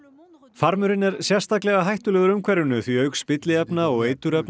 farmurinn er sérstaklega hættulegur umhverfinu því auk spilliefna og